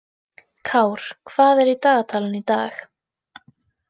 Kár, hvað er í dagatalinu í dag?